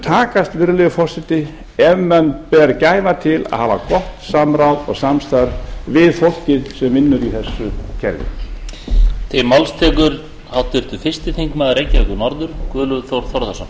takast virðulegi forseti ef menn ber gæfa til að hafa gott samráð og samstarf við fólkið sem vinnur í þessu kerfi